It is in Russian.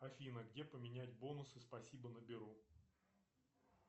афина где поменять бонусы спасибо на беру